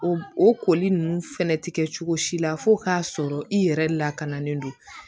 O o koli nunnu fɛnɛ ti kɛ cogo si la fo k'a sɔrɔ i yɛrɛ lakanalen don